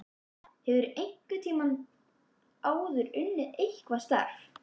Erla: Hefurðu einhvern tímann áður unnið eitthvað starf?